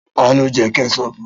Ta ló Jẹ́ Kẹ́ṣọpù?